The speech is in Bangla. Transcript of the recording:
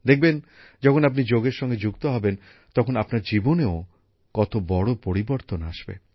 দেখবেন যখন আপনি যোগের সঙ্গে যুক্ত হবেন তখন আপনার জীবনেও কত বড় পরিবর্তন আসবে